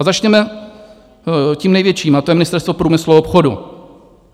A začněme tím největším, a to je Ministerstvo průmyslu a obchodu.